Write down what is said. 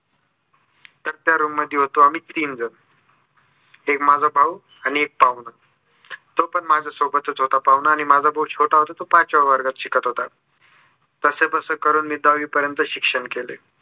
तर त्या रूम मध्ये होतो आम्ही तीन जन एक माझा भाऊ आणि एक पाहुणा तो पण माझ्या सोबतच होता पाहुणा आणि माझा भाऊ छोटा होता तो पाचव्या वर्गात शिकत होता. कसेबसे करून दहावी पर्यन्त शिक्षण केलोय.